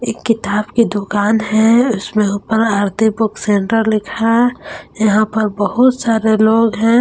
किताब की दुकान है इसमें ऊपर आरती बुक सेंटर लिखा है यहां पर बहुत सारे लोग हैं।